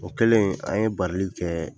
O kɛlen an ye barili kɛ